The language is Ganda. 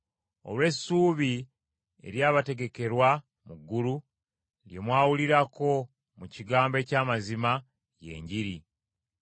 olw’essuubi eryabategekerwa mu ggulu, lye mwawulirako mu kigambo eky’amazima, ye Enjiri.